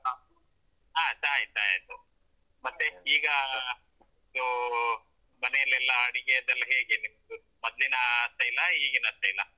ಹ ಆ ಚಾ ಆಯ್ತ್ ಚಾ ಆಯ್ತು ಈಗ ನೀವೂ ಮನೆಲ್ಲೆಲ್ಲಾ ಅಡಿಗೆಯದೆಲ್ಲ ಹೇಗೆ ನಿಮ್ದು ಮೊದ್ಲಿನ ಆ style ಆ ಈಗಿನ style ಆ.